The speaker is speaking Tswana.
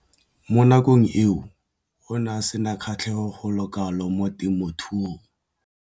Mo nakong eo o ne a sena kgatlhego go le kalo mo temothuong.